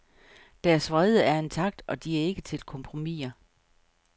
Deres vrede er intakt, og de er ikke til kompromiser.